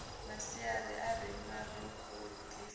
masiari a re maṱorokisi a